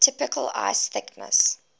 typical ice thickness